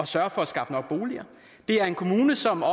sørge for at skaffe nok boliger det er en kommune som har